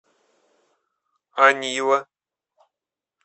анива